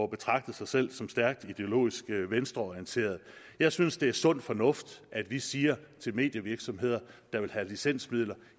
betragte sig selv som stærk ideologisk venstreorienterede jeg synes det er sund fornuft at vi siger til medievirksomheder der vil have licensmidler